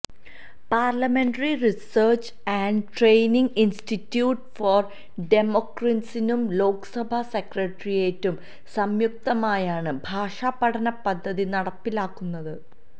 parliamentary research and training institute for ഡെമോക്രസീസും ലോക്സഭാ സെക്രട്ടേറിയറ്റും സംയുക്തമായാണ് ഭാഷാ പഠന പദ്ധതി നടപ്പിലാക്കുന്നത്